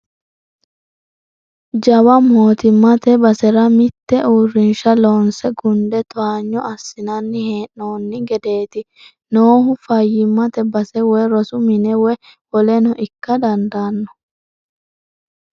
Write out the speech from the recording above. Jawa mootimmate basera mite uurrinsha loonse gunde towaanyo assinanni hee'nonni gedeti noohu, fayyimate base woyi rosu mine woyi woleno ikka dandaano.